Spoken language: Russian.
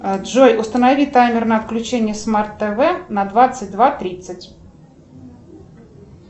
джой установи таймер на включение смарт тв на двадцать два тридцать